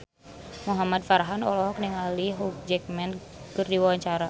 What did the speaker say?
Muhamad Farhan olohok ningali Hugh Jackman keur diwawancara